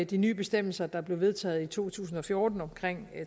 de nye bestemmelser der blev vedtaget i to tusind og fjorten om